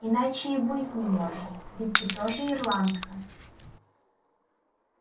иначе и быть не может ведь ты тоже ирландка